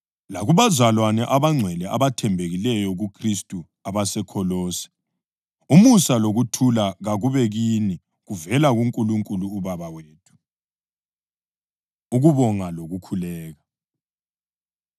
Lakubazalwane abangcwele labathembekileyo kuKhristu abaseKholose: Umusa lokuthula kakube kini kuvela kuNkulunkulu uBaba wethu. Ukubonga Lokukhuleka